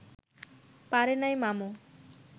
পারে নাই মামু